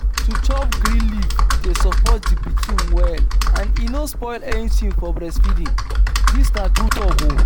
to chop green leaf dey support the pikin well and e no spoil anything for breastfeeding. dis na true talk o.